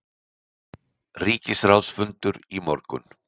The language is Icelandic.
Ríkisráðsfundur í morgun